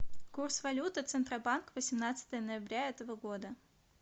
курс валюты центробанк восемнадцатое ноября этого года